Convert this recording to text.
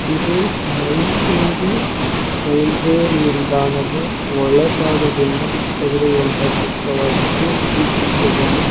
ಇದು ಮೈಸೂರು ರೈಲ್ವೆ ನಿಲ್ದಾಣದ ಒಳಭಾಗದಲ್ಲಿ ತೆಗೆದಿರುವ ಚಿತ್ರವಾಗಿದ್ದು ಈ ಚಿತ್ರದಲ್ಲಿ--